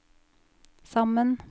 sammen